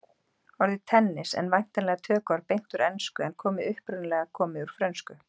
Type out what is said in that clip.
Orðið tennis en væntanlega tökuorð beint úr ensku en er upprunalega komið úr frönsku.